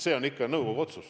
See on ikka nõukogu otsus.